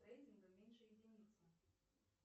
с рейтингом меньше единицы